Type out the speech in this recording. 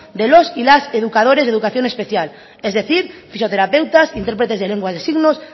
de los y las educadores de educación especial es decir fisioterapeutas intérpretes de lenguas de signos